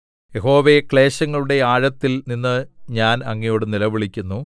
യഹോവേ ക്ലേശങ്ങളുടെ ആഴത്തിൽ നിന്ന് ഞാൻ അങ്ങയോടു നിലവിളിക്കുന്നു